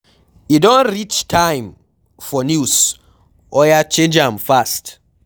E don reach time for news, oya change am fast